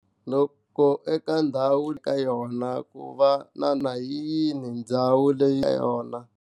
Loko eka ndhawu u ri ka yona ku va na na yini ndhawu leyi na yona.